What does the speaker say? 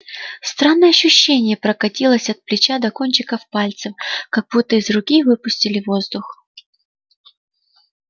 странное ощущение прокатилось от плеча до кончиков пальцев как будто из руки выпустили воздух